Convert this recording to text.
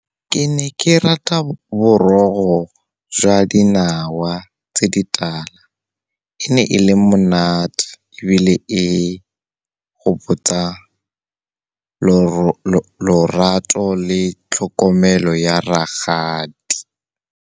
Ke ne ke rata morogo jwa dinawa tse di tala. E ne e le monate, ebile e gopotsa lorato le tlhokomelo ya rakgadi.